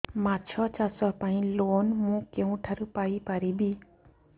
ମାଛ ଚାଷ ପାଇଁ ଲୋନ୍ ମୁଁ କେଉଁଠାରୁ ପାଇପାରିବି